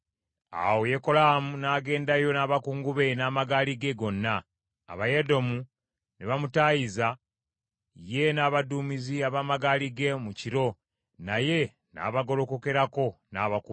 Awo Yekolaamu n’agendayo n’abakungu be n’amagaali ge gonna. Abayedomu ne bamutaayiza ye n’abaduumizi ab’amagaali ge mu kiro, naye n’abagolokokerako n’abakuba.